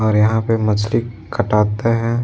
और यहां पे मछली खटाटे हैं।